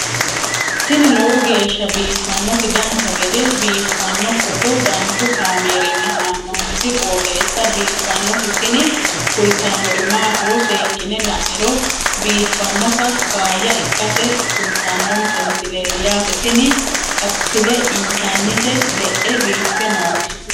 tini lowo geeshsha biiffannoti dancha gede biiffanno footo danchu kaameerinni haa'noonniti qooxeessa biiffannoti tini kultannori maatiro seekkine la'niro biiffannota faayya ikkase kultannoke misileeti yaate tini appile intannite le'e biiffe nooti